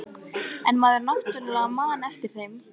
En maður náttúrlega man eftir þeim.